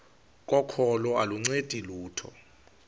kokholo aluncedi lutho